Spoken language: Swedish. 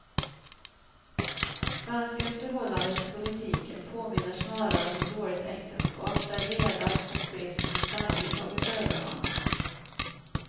Svenskens förhållande till politiken påminner snarare om ett dåligt äktenskap, där leda och brist på spänning tagit överhand.